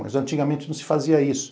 Mas antigamente não se fazia isso.